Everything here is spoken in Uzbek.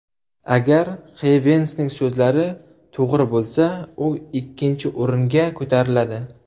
Agar Xeyvensning so‘zlari to‘g‘ri bo‘lsa, u ikkinchi o‘ringa ko‘tariladi.